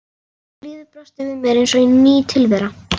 Og lífið brosti við mér eins og ný tilvera.